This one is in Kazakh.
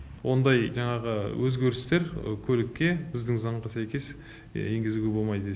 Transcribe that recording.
ондай жаңағы өзгерістер көлікке біздің заңға сәйкес енгізуге болмайды